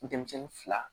Denmisɛnnin fila